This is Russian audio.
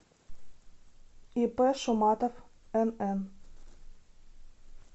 ип шуматов нн